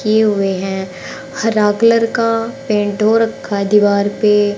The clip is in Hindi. किए हुए हैं हरा कलर का पेंट हो रखा है दीवार पे।